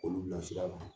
Olu bilasira